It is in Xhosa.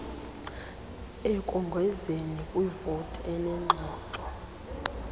ekongezeni kwivoti enengxoxo